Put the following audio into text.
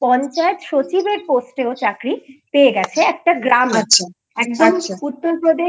পঞ্চায়েত সচিবের পোস্টে ও চাকরি পেয়ে গেছে একটা গ্রাম আচ্ছা এ একদম